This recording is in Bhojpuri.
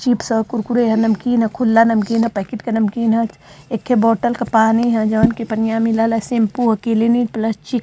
चिप्स ह कुरकुरे ह नमकीन ह खुला नमकीन ह पैकेट का नमकीन ह एके बोतल का पानी है जोन के पनिया मिलेला शैम्पू ह क्लिनिक प्लस ची --